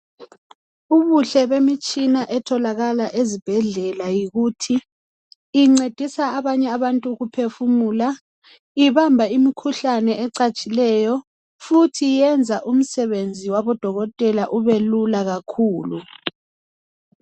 Ubuhle bemitshina etholakala ezibhedlela yikuthi incedisa abanye abantu ukuphefumula, ibamba imikhuhlane ecatshileyo futhi yenza imisebenzi yabodokotela ibelula kakhulu.